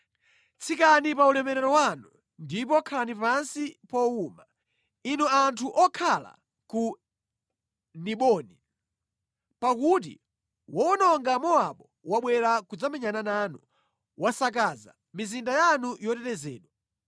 “Tsikani pa ulemerero wanu ndipo khalani pansi powuma, inu anthu okhala ku Diboni, pakuti wowononga Mowabu wabwera kudzamenyana nanu, wasakaza mizinda yanu yotetezedwa.